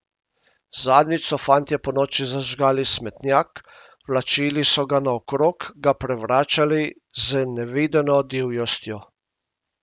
Zadnjič so fantje ponoči zažgali smetnjak, vlačili so ga naokrog, ga prevračali z nevideno divjostjo.